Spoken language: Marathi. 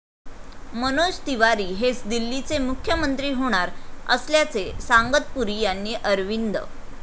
मनोज तिवारी हेच दिल्लीचे मुख्यमंत्री होणार असल्याचे सांगत पुरी यांनी अरविंद.